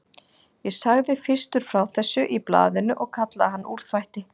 Ég sagði fyrstur frá þessu í blaðinu og kallaði hann úrþvætti.